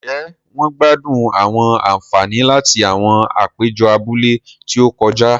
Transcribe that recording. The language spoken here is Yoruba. Njé wón gbádùn àwọn ànfàní láti awọn apejọ abúlé ti o kọjá?